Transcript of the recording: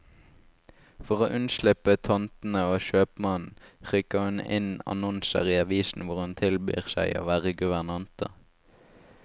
For å unnslippe tantene og kjøpmannen, rykker hun inn annonser i avisen hvor hun tilbyr seg å være guvernante.